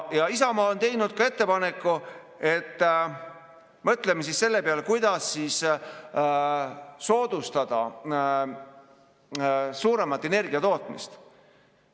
Isamaa on teinud ettepaneku, et mõtleme siis selle peale, kuidas soodustada energiatootmise suurendamist.